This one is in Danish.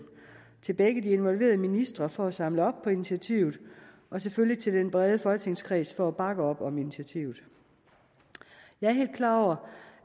til begge de involverede ministre for at samle op på initiativet og selvfølgelig til den brede folketingskreds for at bakke op om initiativet jeg er helt klar over